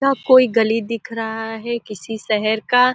यह कोई गली दिख रहा है किसी शेहेर का --